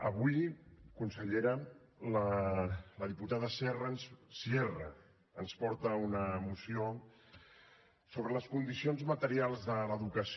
avui consellera la diputada sierra ens porta una moció sobre les condicions materials de l’educació